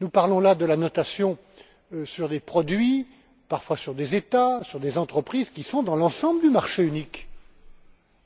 Nous parlons là de la notation de produits, parfois d'États, d'entreprises, présents dans l'ensemble du marché unique,